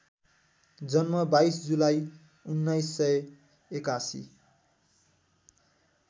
जन्म २२ जुलाई १९८१